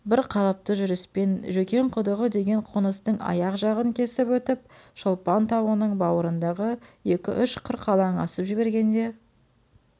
бір қалыпты жүріспен жөкең құдығы деген қоныстың аяқ жағын кесіп өтіп шолпан тауының бауырыңдағы екі-үш қырқалан асып жібергенде